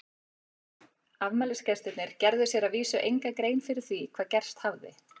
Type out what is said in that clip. Afmælisgestirnir gerðu sér að vísu enga grein fyrir því hvað gerst hafði.